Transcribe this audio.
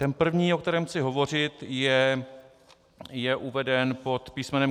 Ten první, o kterém chci hovořit, je uveden pod písm.